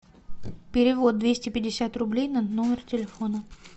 перевод двести пятьдесят рублей на номер телефона